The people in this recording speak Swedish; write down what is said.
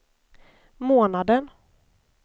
månaden